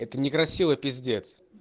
это некрасиво пиздец